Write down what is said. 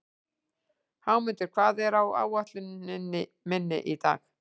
Hámundur, hvað er á áætluninni minni í dag?